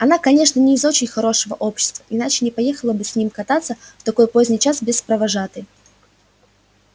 она конечно не из очень хорошего общества иначе не поехала бы с ним кататься в такой поздний час без провожатой